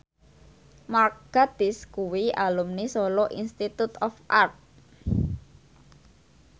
Mark Gatiss kuwi alumni Solo Institute of Art